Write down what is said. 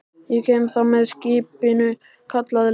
Ég kem þá með skipinu, kallaði Lilla.